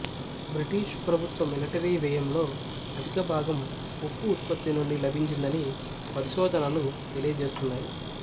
British ప్రభుత్వ military వ్యయంలో అధికభాగం ఉప్పు ఉత్పత్తి నుండి లభించిందని పరిశోధనలు తెలియజేస్తున్నాయి